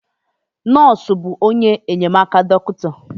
Nọọsụ bụ onye enyemaka dọkịta.